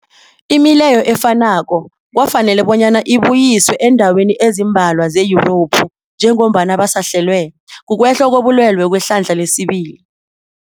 Imileyo efanako kwafanela bonyana ibuyiswe eendaweni ezimbalwa ze-Yurophu njengombana basahlelwa, kukwehla kobulwele kwehlandla lesibili.